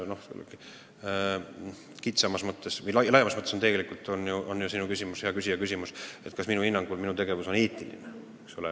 Laiemas mõttes on tegelikult, hea küsija, sinu küsimus selles, kas minu hinnangul minu tegevus on eetiline, eks ole.